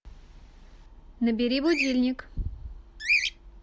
набери будильник